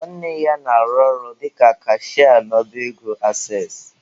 Nwanne ya na-arụ ọrụ dịka kashịa n'ọba ego ases.